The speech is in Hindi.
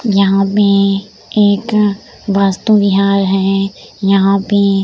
यहाँ पे एक वास्तु विहार हे यहाँ पे --